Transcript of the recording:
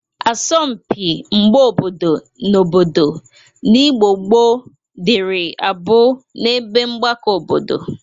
Asọmpị mgba obodo na obodo n'Igbo gboo dịrị abụ n'ebe mgbakọ obodo.